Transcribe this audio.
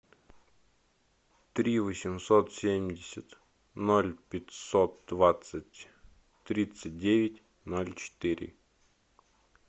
три восемьсот семьдесят ноль пятьсот двадцать тридцать девять ноль четыре